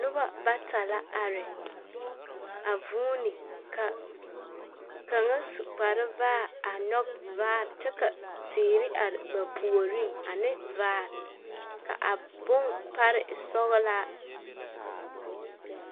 Noba bata la are a vuuni ka kaŋa su kpare vaare a nyͻge vaa kyͻ ka teere are ba puoriŋ ane vaare. Ka a bompare e sͻgelaa.